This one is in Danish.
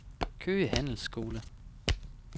Køge Handelsskole